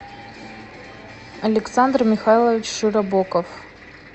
александр михайлович широбоков